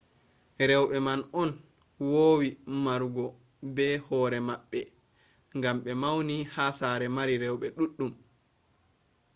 rewɓe man on wowi narrugo be hoore maɓɓe ngam ɓe mauni ha saare mari rewɓe ɗuɗɗum